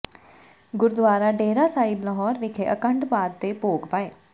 ਗੁਰਦੁਆਰਾ ਡੇਹਰਾ ਸਾਹਿਬ ਲਾਹੌਰ ਵਿਖੇ ਅਖੰਡ ਪਾਠ ਦੇ ਭੋਗ ਪਾਏ